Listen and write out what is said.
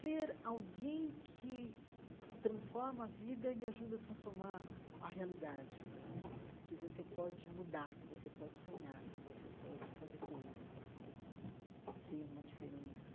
ser alguém que transforma a vida e ajuda a transformar a realidade né, que você pode mudar, que você pode sonhar, que você pode fazer coisas né, ser uma diferença.